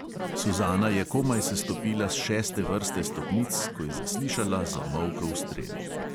Suzana je komaj sestopila s šeste vrste stopnic, ko je zaslišala zamolkel strel.